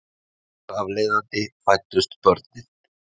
Þar af leiðandi fæddust börnin